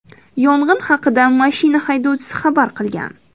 Yong‘in haqida mashina haydovchisi xabar qilgan.